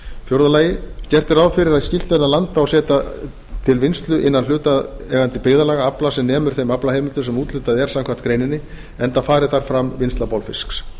er ráð fyrir að skylt verði að landa og setja til vinnslu innan hlutaðeigandi byggðarlaga afla sem nemur þeim aflaheimildum sem úthlutað er samkvæmt greininni enda fari þar fram vinnsla bolfisks